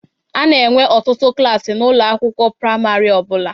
A na-enwe ọtụtụ klaasị n'ụlọ akwụkwọ praịmarị ọ bụla.